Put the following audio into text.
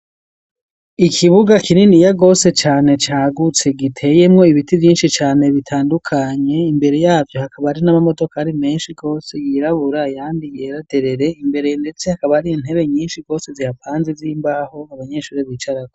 Ikibuga, kininiya gose cane, cagutse, giteyemwo ibiti, vyinshi cane bitandukanye; imbere yavyo, hakaba hari n'amamodokari, menshi gose, yirabura, ayandi yera derere; imbere ndetse, hakaba hari intebe, nyinshi gose, zihapanze, z'imbaho, abanyeshuri bicarako.